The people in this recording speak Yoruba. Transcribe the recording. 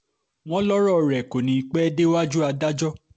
wọ́n lọ́rọ̀ rẹ̀ kò ní í pẹ́ẹ́ déwájú adájọ́